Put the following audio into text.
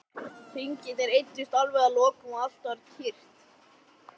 Hringirnir eyddust alveg að lokum og allt varð kyrrt.